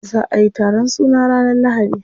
Za'a yi taron suna ranar lahadi.